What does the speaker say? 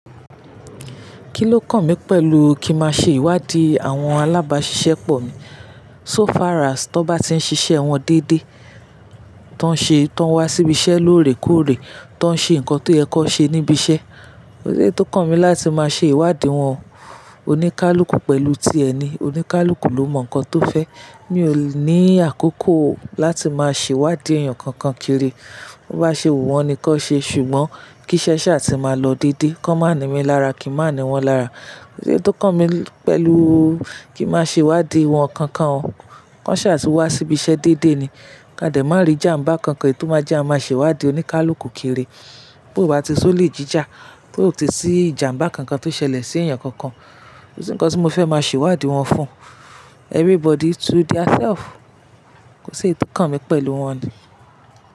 Kí ló kàn mí pẹ̀lú kí má ṣe ìwádìí àwọn alábáṣiṣẹ́ pọ̀ mi? So far as tó bá ti ń ṣiṣẹ́ wọn dédé, tó ń ṣe, tó ń wá síbi iṣẹ́ lóòrèkóòrè, tó ń ṣe nǹkan tó yẹ kó ṣe níbi iṣẹ́, kò sí eyi tí ó kàn mí láti má ṣe ìwádìí wọn. Oníkálukú pẹ̀lú ti ẹni, oníkálukú ló mọ nǹkan tó fẹ́. Mi ò ní àkókò láti máa ṣe ìwádìí èèyàn kankan kiri. Ó bá ṣe wu wọn ni kó ṣe ṣùgbọ́n kí iṣẹ́ ṣá ti máa lọ dédé. Kó má ni mí lára kí n má ni wọ́n lára. Kò sí ohun tí ó kàn mí pẹ̀lú kí má ṣe ìwádìí wọn kankan. Wọ́n ṣà ti wá síbi iṣẹ́ dédé ni. Ka dẹ̀ má rí ìjàmbá kankan èyi tiò má jẹ kià máa ṣe ìwádìí oníkálukú kiri. Bí ó bá ti si olè jíjà, tí ò ti sí ìjàmbá kankan tó ṣẹlẹ̀ sí èèyàn kankan, kò sí ohun kankan tí mo fẹ́ máa ṣe ìwádìí wọn fún. Everybody to theirself. Kò sí eyi tí ó kàn mí pẹ̀lú wọn now.